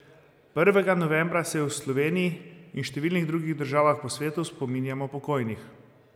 Prvega novembra se v Sloveniji in številnih drugih državah po svetu spominjamo pokojnih.